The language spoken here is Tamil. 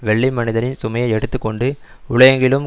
வெள்ளை மனிதனின் சுமையை எடுத்து கொண்டு உலகெங்கிலும்